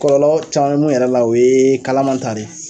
Kɔlɔlɔ caman mɛ mun yɛrɛ la o ye kalaman ta de ye.